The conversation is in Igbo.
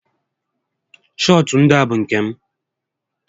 Shọọtụ ndịa bụ nke m